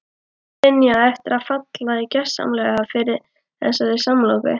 Linja á eftir að falla gjörsamlega fyrir þessari samloku.